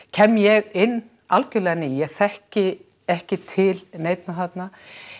kem ég inn algjörlega ný ég þekki ekki til neinna þarna